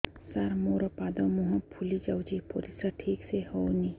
ସାର ମୋରୋ ପାଦ ମୁହଁ ଫୁଲିଯାଉଛି ପରିଶ୍ରା ଠିକ ସେ ହଉନି